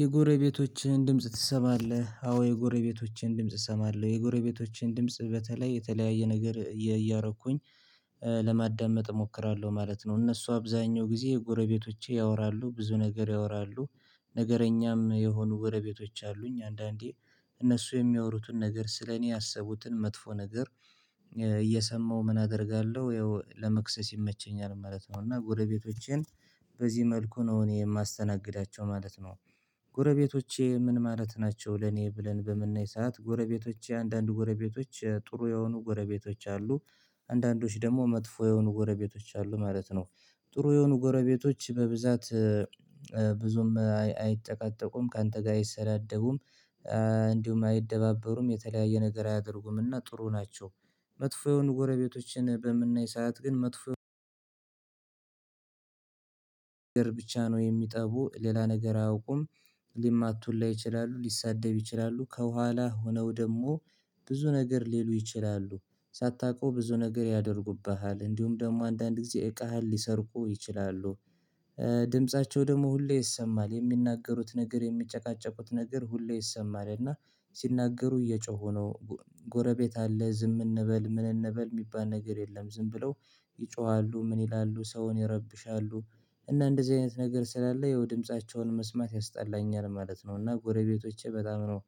የጎረቤቶችህን ድምጽ ትሰማለህ? አዎ የጎረቤቶቼን ድምጽ እሰማለው የጎረቤቶቼን ድምጽ በተለይ የተለያየ ነገር እያረኩኝ ለማዳመጥ እሞክራለሁ ማለት ነው እነሱ አብዛኛው ጊዜ ጎረቤቶቼ ያወራሉ ብዙ ነገር ያወራሉ ነገረኛም የሆኑ ጎረቤቶች አሉኝ አንዳንዴ እነሱ የሚያወሩትን ነገር ስለኔ ያሰቡትን መጥፎ ነገር እየሰማሁ ምን አደርጋለሁ ያው ለመክሰስ ይመቸኛል ማለት ነው እና ጎረቤቶቼን በዚህ መልኩ ነው እኔ የማስተናግዳቸው ማለት ነው ጎረቤቶቼ ምን ማለት ናቸው ለኔ ብለን በምናይ ሰዓት ጎረቤቶቼ አንዳንድ ጎረቤቶች ጥሩ የሆኑ ጎረቤቶች አሉ አንዳንዶች ደግሞ መጥፎ የሆኑ ጎረቤቶች አሉ ማለት ነው ጥሩ የሆኑ ጎረቤቶች በብዛት ብዙም አይጨቃጨቁም ካንተ ጋር አይሰዳደቡም እንዲሁም አይደባበሩም የተለያየ ነገር አያደርጉምና ጥሩ ናቸው መጥፎ የሆኑ ጎረቤቶችን በምናይ ሰዓት ግን መጥፎ ብቻ ነው የሚጠቡ ሌላ ነገር አያውቁም ሊማቱ ሁላ ይችላሉ ሊሳደብ ይችላሉ ከኋላ ሆነው ደግሞ ብዙ ነገር ሊሉ ይችላሉ ሳታውቀው ብዙ ነገር ያደርጉብሃል እንዲሁም ደግሞ አንዳንድ ጊዜ እቃህን ሊሰርቁ ይችላሉ ድምፃቸው ደግሞ ሁሌ ይሰማል የሚናገሩት ነገር የሚጨቃጨቁት ነገር ሁሌ ይሰማል እና ሲናገሩ እየጮሁ ነው ጎረቤት አለ ዝም እንበል ምን እንበል የሚባል ነገር የለም ዝም ብለው ይጮሃሉ ምን ይላሉ ሰውን ይረብሻሉ እና እንደዚህ አይነት ነገር ስላለ የው ድምፃቸውን መስማት ያስጠላኛል ማለት ነው እና ጎረቤቶቼ በጣም ነው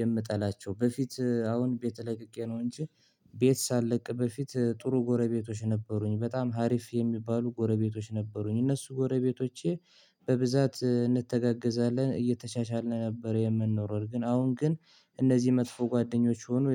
የምጠላቸው በፊት አሁን ቤት ለቅቄ ነው እንጂ ቤት ሳለቅ በፊት ጥሩ ጎረቤቶች ነበሩኝ በጣም አሪፍ የሚባሉ ጎረቤቶች ነበሩኝ እነሱ ጎረቤቶቼ በብዛት እንተጋገዛለን እየተቻቻልን ነበር የምንኖረው ግን አሁን ግን እነዚህ መጥፎ ጓደኞች ሆኑ